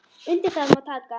Undir það má taka.